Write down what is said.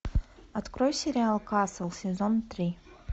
открой сериал касл сезон три